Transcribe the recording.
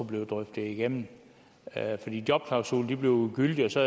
blive drøftet igennem jobklausuler blivee ugyldige og så